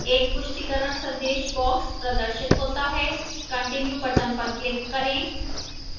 एक पुष्टिकरण संदेश box प्रदर्शित होता है continue box पर क्लिक करें